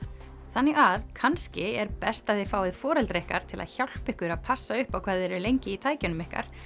þannig að kannski er best að þið fáið foreldra ykkar til að hjálpa ykkur að passa upp á hvað þið eruð lengi í tækjunum ykkar